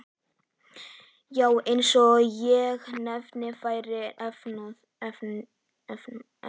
Já, eins og hendi væri veifað.